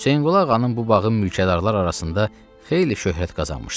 Hüseynqulu ağanın bu bağı mülkədarlar arasında xeyli şöhrət qazanmışdı.